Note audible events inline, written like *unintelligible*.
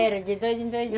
Era de dois em dois *unintelligible*